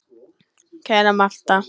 Kæra Martha.